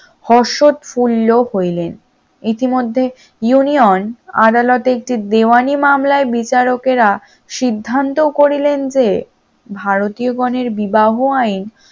রসদ পূর্ণ হইলেন, ইতিমধ্যে union আদালতে একটি দেওয়ানী মামলায় বিচারকেরা সিদ্ধান্ত করিলেন যে ভারতীয় গনের বিবাহ আইন